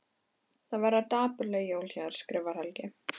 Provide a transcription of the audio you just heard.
Það verða dapurleg jól hjá þér skrifar Helgi.